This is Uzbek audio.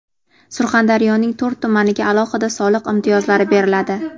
Surxondaryoning to‘rt tumaniga alohida soliq imtiyozlari beriladi.